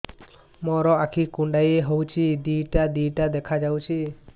ମୋର ଆଖି କୁଣ୍ଡାଇ ହଉଛି ଦିଇଟା ଦିଇଟା ଦେଖା ଯାଉଛି